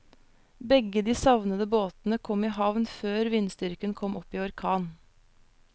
Begge de savnede båtene kom i havn før vindstyrken kom opp i orkan.